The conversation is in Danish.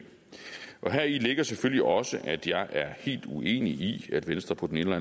heri ligger selvfølgelig også at jeg er helt uenig i at venstre på den ene